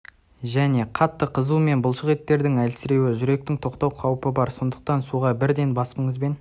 және қатты қызу мен бұлшық еттердің әлсіреуі жүректі тоқтату қауіпі бар сондықтан суға бірден басыңызбен